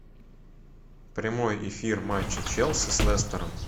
прямой эфир матча челси с лестером